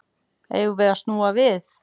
Eigum við snúa við?